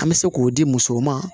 An bɛ se k'o di musow ma